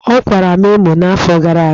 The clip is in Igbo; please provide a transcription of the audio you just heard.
Ọkwara m emo n'afọ gara aga.